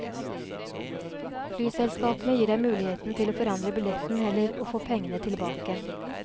Flyselskapene gir deg muligheten til å forandre billetten eller å få pengene tilbake.